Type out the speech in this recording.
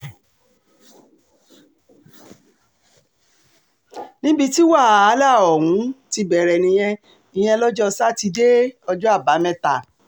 níbi tí wàhálà um ọ̀hún ti bẹ̀rẹ̀ nìyẹn ìyẹn lọ́jọ́ sátidé um ọjọ́ àbámẹ́ta